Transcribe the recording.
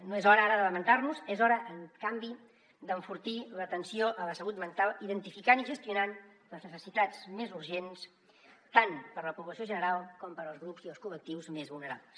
no és hora ara de lamentar nos és hora en canvi d’enfortir l’atenció a la salut mental identificant i gestionant les necessitats més urgents tant per a la població general com per als grups i els col·lectius més vulnerables